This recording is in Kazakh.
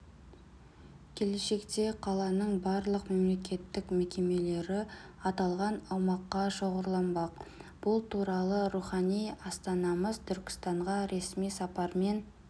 келешекте қаланың барлық мемлекеттік мекемелері аталған аумаққа шоғырланбақ бұл туралы рухани астанамыз түркістанға ресми сапармен